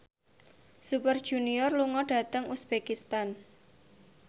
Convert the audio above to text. Super Junior lunga dhateng uzbekistan